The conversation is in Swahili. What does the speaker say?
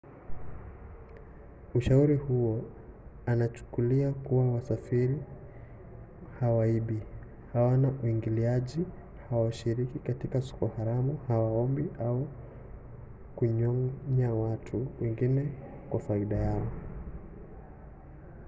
ushauri huo unachukulia kuwa wasafiri hawaibi hawana uingiliaji hawashiriki katika soko haramu hawaombi au kunyonya watu wengine kwa faida yao